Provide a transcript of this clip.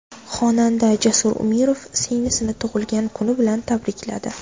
Xonanda Jasur Umirov singlisini tug‘ilgan kuni bilan tabrikladi.